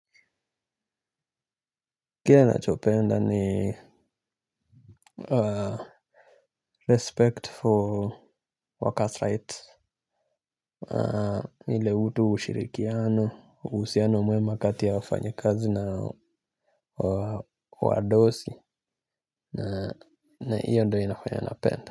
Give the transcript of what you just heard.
Kile nachopenda ni respect for workers rights ile utu ushirikiano uhusiano mwema kati ya wafanyi kazi na wadosi na hiyo ndo inafanya napenda.